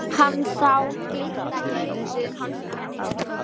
Hann sá glitta í nistið um hálsinn á henni.